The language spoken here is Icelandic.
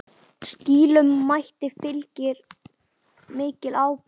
Slíkum mætti fylgir mikil ábyrgð.